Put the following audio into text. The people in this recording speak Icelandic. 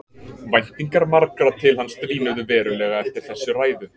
Væntingar margra til hans dvínuðu verulega eftir þessa ræðu.